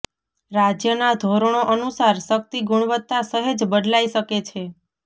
રાજ્યના ધોરણો અનુસાર શક્તિ ગુણવત્તા સહેજ બદલાઇ શકે છે